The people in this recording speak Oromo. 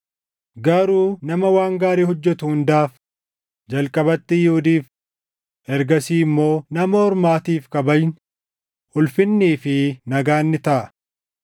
Garuu nama waan gaarii hojjetu hundaaf, jalqabatti Yihuudiif, ergasii immoo Nama Ormaatiif kabajni, ulfinnii fi nagaan ni taʼa.